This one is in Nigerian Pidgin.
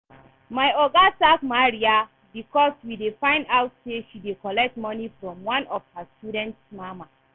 My oga sack Maria because we find out say she dey collect money from one of her students mama